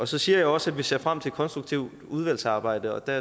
så siger jeg også at vi ser frem til et konstruktivt udvalgsarbejde og der